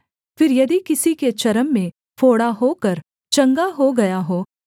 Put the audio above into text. फिर यदि किसी के चर्म में फोड़ा होकर चंगा हो गया हो